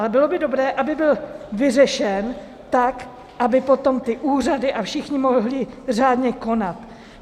Ale bylo by dobré, aby byl vyřešen tak, aby potom ty úřady a všichni mohli řádně konat.